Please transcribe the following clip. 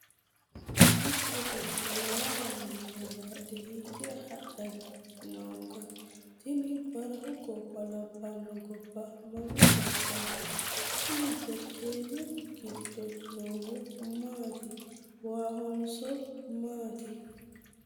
mitte beetto waa lawannore bayiidhe hiikka hadhanni nookka? tini barahu gobba labbanno gobba mami gobbaati? kuni jarkaanu giddo noohu maati waahonso mati?